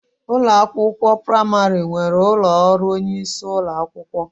Ụlọ akwụkwọ praimari nwere ụlọ ọrụ onyeisi ụlọakwụkwọ.